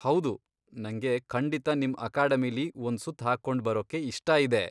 ಹೌದು, ನಂಗೆ ಖಂಡಿತ ನಿಮ್ ಅಕಾಡೆಮಿಲಿ ಒಂದ್ ಸುತ್ತ್ ಹಾಕೊಂಡು ಬರೋಕೆ ಇಷ್ಟ ಇದೆ.